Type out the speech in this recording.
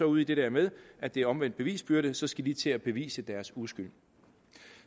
ude i det der med at det er omvendt bevisbyrde og så skal de til at bevise deres uskyld